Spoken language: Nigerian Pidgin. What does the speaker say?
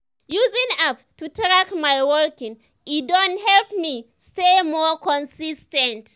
using app to track my walking e don help me stay more consis ten t.